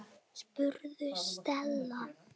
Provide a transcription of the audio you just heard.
spurði Stella.